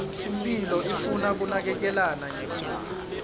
imphilo ifuna kunakekelana nge kudla